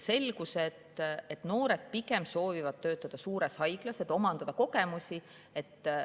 Selgus, et noored soovivad töötada pigem suures haiglas, et omandada kogemusi.